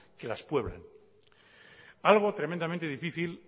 que las pueblan algo tremendamente difícil